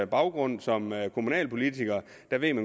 baggrund som kommunalpolitiker